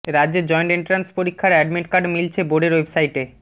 রাজ্যে joint entrance পরীক্ষার admit card মিলছে বোর্ডের ওয়েবসাইটে